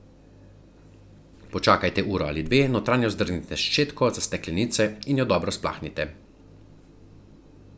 Počakajte uro ali dve, notranjost zdrgnite s ščetko za steklenice in jo dobro splaknite.